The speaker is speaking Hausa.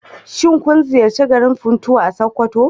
Shin kun ziyarci garin Funtuwa a Sokoto?